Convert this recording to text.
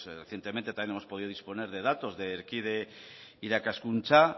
recientemente también hemos podido disponer de datos de erkide irakaskuntza